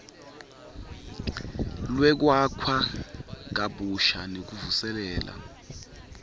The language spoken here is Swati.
lwekwakha kabusha nekuvuselela